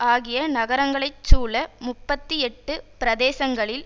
ஆகிய நகரங்களைச் சூழ முப்பத்தி எட்டு பிரதேசங்களில்